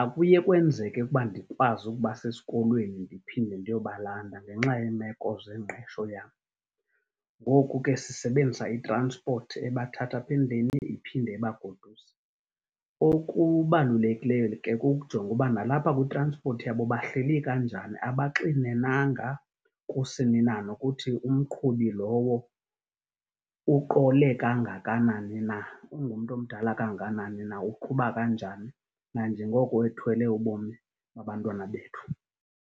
akuye kwenzeke ukuba ndikwazi ukubasa esikolweni ndiphinde ndiyobalanda ngenxa yeemeko zengqesho yam. Ngoku ke sisebenzisa itranspothi ebathatha apha endlini iphinde ibagoduse. Okubalulekileyo ke kukujonga uba nalapha kwitranspothi yabo bahleli kanjani, abaxinenanga kusini na nokuthi umqhubi lowo uqole kangakanani na. Ungumntu omdala kangakanani na, uqhuba kanjani, nanjengoko ethwele ubomi babantwana bethu.